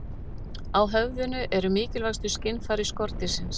Á höfðinu eru mikilvægustu skynfæri skordýrsins.